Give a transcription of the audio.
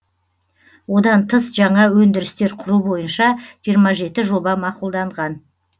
одан тыс жаңа өндірістер құру бойынша жиырма жеті жоба мақұлданған